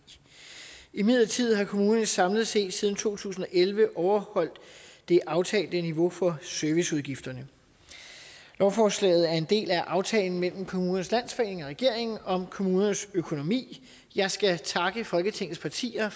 imidlertid har kommunerne samlet set siden to tusind og elleve overholdt det aftalte niveau for serviceudgifterne lovforslaget er en del af aftalen mellem kommunernes landsforening og regeringen om kommunernes økonomi jeg skal takke folketingets partier